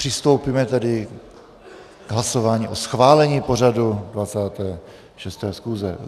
Přistoupíme tedy k hlasování o schválení pořadu 26. schůze.